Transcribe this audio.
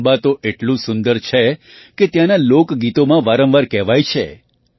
ચંબા તો એટલું સુંદર છે કે ત્યાંનાં લોકગીતોમાં વારંવાર કહેવાય છે